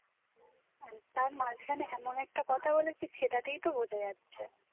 তার মাঝখানে এমন একটা কথা বলেছিস সেটা তেই তো বোঝা যাচ্ছে